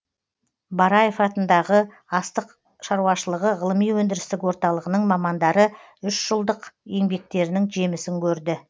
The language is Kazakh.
бараев атындағы астық шаруашылығы ғылыми өндірістік орталығының мамандары үш жылдық еңбектерінің жемісін көрді